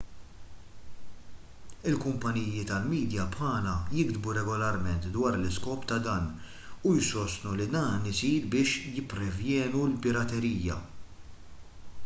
il-kumpaniji tal-midja bħala jigdbu regolarment dwar l-iskop ta' dan u jsostnu li dan isir biex jipprevjenu l-piraterija